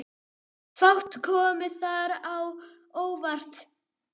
Fátt kom þar á óvart.